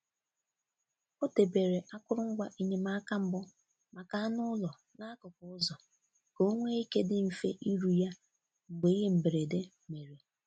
Ọ debere akụrụngwa enyemaka mbụ maka anụ ụlọ n’akụkụ ụzọ ka onwe ike dị mfe iru ya mgbe ihe mberede mere.